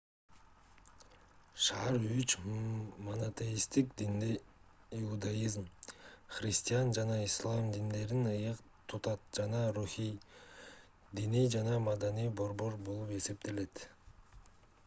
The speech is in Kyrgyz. шаар үч монотеисттик динди иудаизм христиан жана ислам диндерин ыйык тутат жана руханий диний жана маданий борбор болуп эсептелет